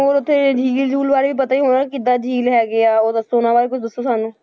ਹੋਰ ਉੱਥੇ ਝੀਲ ਝੂਲ ਬਾਰੇ ਵੀ ਪਤਾ ਹੀ ਹੋਣਾ, ਕਿੱਦਾਂ ਝੀਲ ਹੈਗੇ ਆ, ਉਹ ਦੱਸੋ ਉਹਨਾਂ ਬਾਰੇ ਕੁੱਝ ਦੱਸੋ ਸਾਨੂੰ।